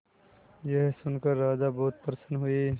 यह सुनकर राजा बहुत प्रसन्न हुए